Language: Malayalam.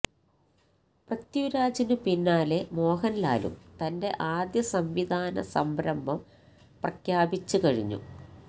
പൃഥ്വിരാജിനു പിന്നാലെ മോഹൻലാലും തന്റെ ആദ്യ സംവിധാന സംരംഭം പ്രഖ്യാപിച്ച് കഴിഞ്ഞു